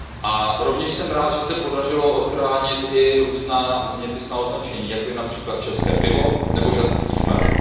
A rovněž jsem rád, že se podařilo ochránit i různá zeměpisná označení, jako je například české pivo nebo žatecký chmel.